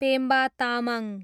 Pemba Tamang